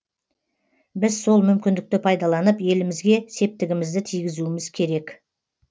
біз сол мүмкіндікті пайдаланып елімізге септігімізді тигізуіміз керек